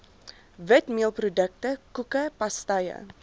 witmeelprodukte koeke pastye